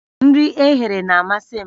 Nri eghere na-amasị m